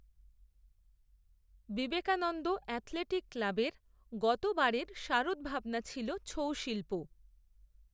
Vivekananda athletic ক্লাবের গত বারের শারদভাবনা ছিল ছৌ শিল্প